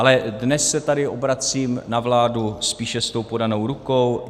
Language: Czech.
Ale dnes se tady obracím na vládu spíše s tou podanou rukou.